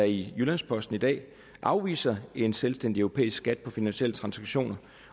i jyllands posten i dag afviser en selvstændig europæisk skat på finansielle transaktioner